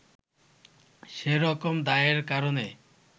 সে রকম দায়ের কারণে